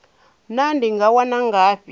naa ndi nga wana ngafhi